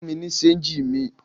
Fún mi ní ṣéńjì mi!